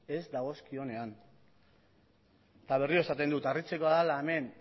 ez dagozkionean eta berriro esaten dut harritzekoa dela hemen